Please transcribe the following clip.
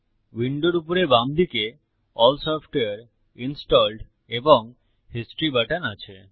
উইন্ডোর উপরে বামদিকে এএলএল সফটওয়ারে ইনস্টলড এবং হিস্টরি বাটন আছে